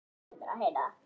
Síra Björn Jónsson